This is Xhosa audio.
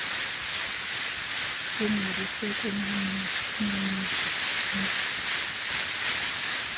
ingqaliswe kummizo idlula